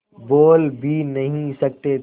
बोल भी नहीं सकते थे